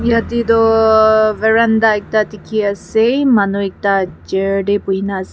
yatae toh verenda ekta dikhiase manu ekta chair tae buhina ase.